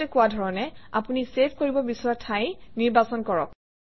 আগতে কোৱা ধৰণে আপুনি চেভ কৰিব বিচৰা ঠাই নিৰ্বাচন কৰক